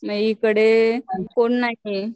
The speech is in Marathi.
मग इकडे कोण नाहीये.